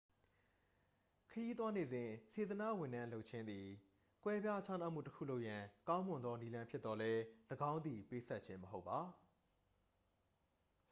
ခရီးသွားနေစဉ် စေတနာ့ဝန်ထမ်းလုပ်ခြင်းသည် ကွဲပြားခြားမှုတစ်ခုလုပ်ရန် ကောင်းမွန်သောနည်းလမ်းဖြစ်သော်လည်း ၎င်းသည် ပေးဆပ်ခြင်း မဟုတ်ပါ